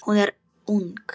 Hún er ung.